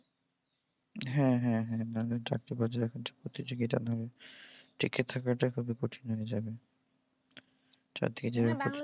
হ্যাঁ হ্যাঁ হ্যাঁ হ্যাঁ চাকরির বাজারে যা প্রতিযোগিতা, টিকে থাকাই খুব কঠিন হয়ে যাবে।